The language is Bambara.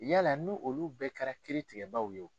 Yala ni olu bɛɛ kɛra kiri tigɛbagaw ye wo?